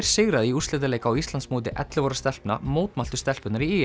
sigraði í úrslitaleik á Íslandsmóti ellefu ára stelpna mótmæltu stelpurnar í